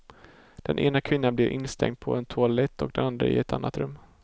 Den ena kvinnan blev instängd på en toalett och den andra i ett annat rum.